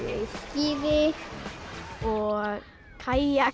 skíði og kajak